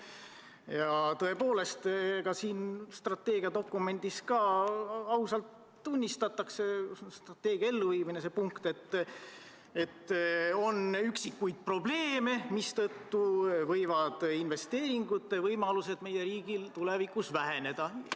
Ja ka selle strateegiadokumendi strateegia elluviimise punktis tunnistatakse ausalt, et on üksikuid probleeme, mille tõttu võivad investeeringute võimalused meie riigil tulevikus väheneda.